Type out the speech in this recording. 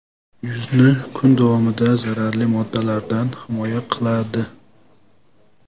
Yuzni kun davomida zararli moddalardan himoya qiladi.